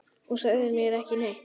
Og sagðir mér ekki neitt!